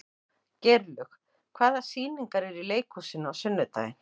Geirlaug, hvaða sýningar eru í leikhúsinu á sunnudaginn?